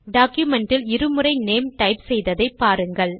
document இல் இரு முறை நேம் டைப் செய்ததை பாருங்கள்